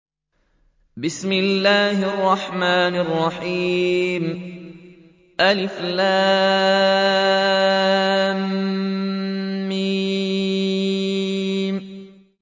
الم